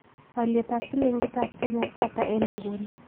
Alyetap silingiitap kenya ko ata eng' nguno